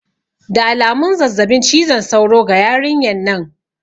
Da alamun zazzabin cizon sauro ga yarinyan nan